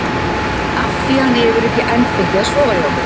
Af því að hann hefur ekki enn fengið að sofa hjá mér.